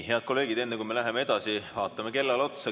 Head kolleegid, enne kui me läheme edasi, vaatame kella.